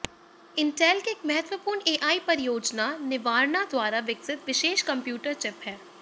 Intel की एक महत्वपूर्ण एआई परियोजना निवार्णा द्वारा विकसित विशेष कंप्यूटर चिप है